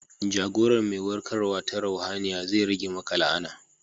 Jagorar mai warkarwa ta ruhaniya zai rage maka la'ana.